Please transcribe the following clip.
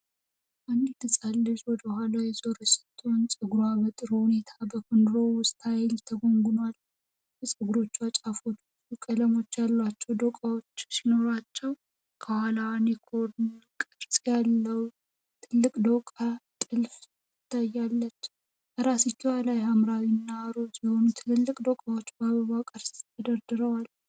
አንዲት ሕፃን ልጅ ወደኋላዋ የዞረች ስትሆን፣ ፀጉሯ በጥሩ ሁኔታ በኮርንሮው ስታይል ተጎንጉኗል። የጉንጉኖቹ ጫፎች ብዙ ቀለም ያላቸው ዶቃዎች ሲኖሯቸው፣ ከኋላዋ ዩኒኮርን ቅርጽ ያለው ትልቅ ዶቃ ጥልፍ ትታያለች። ከራስጌዋ ላይ ሐምራዊና ሮዝ የሆኑ ትላልቅ ዶቃዎች በአበባ ቅርጽ ተደርድረዋል።